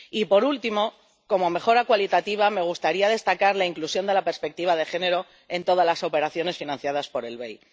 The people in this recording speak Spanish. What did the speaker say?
Y, por último, como mejora cualitativa, me gustaría destacar la inclusión de la perspectiva de género en todas las operaciones financiadas por el BEI.